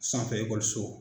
Sanfɛ so.